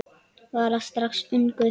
Var það strax ungur.